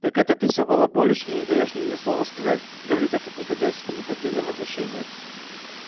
так это ты все балаболишь и не даёшь мне ни слова сказать говорит этот негодяй с неподдельным возмущением